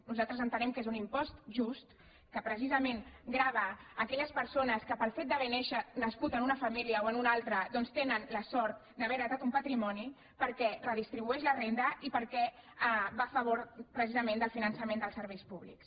nosaltres entenem que és un impost just que precisament grava aquelles persones que pel fet d’haver nascut en una família o en una altra doncs tenen la sort d’haver heretat un patrimoni perquè redistribueix la renda i perquè va a favor precisament del finançament dels serveis públics